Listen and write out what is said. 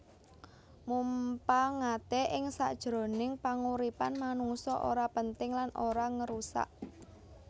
Mumpangate ing sakjroning panguripan manungsa ora penting lan ora ngérusak